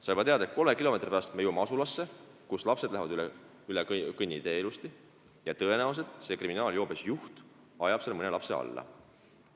Sa juba tead, et poole kilomeetri pärast jõutakse asulasse, kus lapsed lähevad ilusasti üle sõidutee ja tõenäoliselt see kriminaalses joobes juht ajab seal mõne lapse alla.